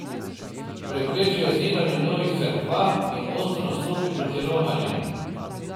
Preprečil je zidanje novih cerkva in ostro nastopil proti romarjem.